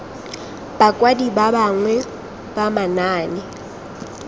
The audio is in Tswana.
bakwadi ba bangwe ba manaane